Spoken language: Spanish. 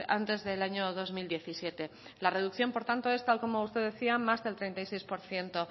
antes del año dos mil diecisiete la reducción por tanto es tal y como usted decía más del treinta y seis por ciento